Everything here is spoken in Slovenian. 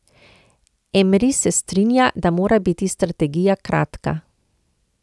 Emri se strinja, da mora biti strategija kratka.